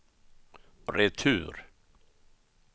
retur